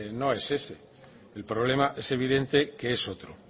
no es ese el problema es evidente que es otro